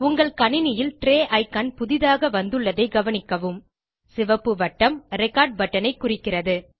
உங்கள் கணினியில் tray icon புதியாக வந்துள்ளதை கவனிக்கவும் சிவப்பு வட்டம் ரெக்கார்ட் பட்டன் ஐ குறிக்கிறது